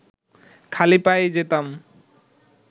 খালি পায়েই যেতাম